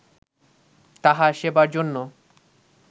তাহার সেবার জন্য